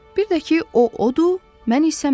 Bir də ki, o odur, mən isə mən.